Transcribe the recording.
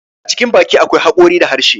A cikin baki akwai hakori da harshe.